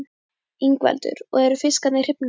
Ingveldur: Og eru fiskarnir hrifnir af því?